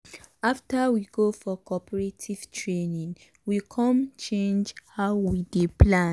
after we go for cooperative training we com change how we dey plant.